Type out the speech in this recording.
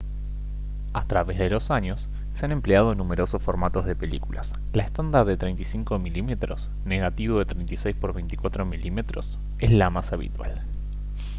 a través de los años se han empleado numerosos formatos de películas. la estándar de 35 mm negativo de 36 por 24 mm es la más habitual